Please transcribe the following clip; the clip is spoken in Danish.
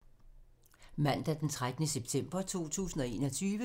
Mandag d. 13. september 2021